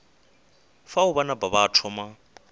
fao ba napa ba thoma